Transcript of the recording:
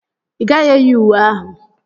Ị gaghị eyi uwe ahụ.